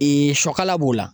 siyɔkala b'o la.